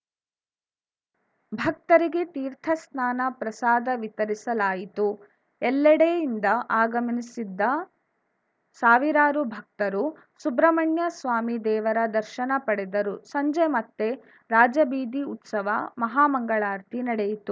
ಭಕ್ತರಿಗೆ ತೀರ್ಥ ಸ್ನಾನ ಪ್ರಸಾದ ವಿತರಿಸಲಾಯಿತು ಎಲ್ಲೆಡೆಯಿಂದ ಆಗಮ್ನಿಸಿದ್ದ ಸಾವಿರಾರು ಭಕ್ತರು ಸುಬ್ರಮಣ್ಯಸ್ವಾಮಿ ದೇವರ ದರ್ಶನ ಪಡೆದರು ಸಂಜೆ ಮತ್ತೆ ರಾಜಬೀದಿ ಉತ್ಸವ ಮಹಾ ಮಂಗಳಾರತಿ ನಡೆಯಿತು